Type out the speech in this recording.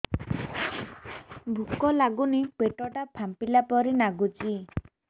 ଭୁକ ଲାଗୁନି ପେଟ ଟା ଫାମ୍ପିଲା ପରି ନାଗୁଚି